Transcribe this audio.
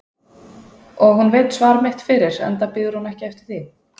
Og hún veit svar mitt fyrir enda bíður hún ekki eftir því.